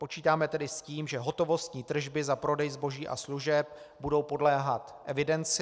Počítáme tedy s tím, že hotovostní tržby za prodej zboží a služeb budou podléhat evidenci.